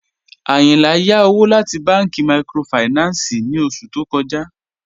Ayìnlá yá òwò láti bànki míkrófáìnánsì ní ọṣù tó kọ̀já